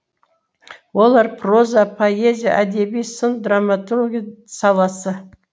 олар проза поэзия әдеби сын драматурги саласы